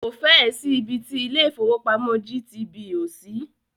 Kò fẹ́ ẹ̀ sí ibi ti ilé ìfọwọ́pamo GTB ò sí.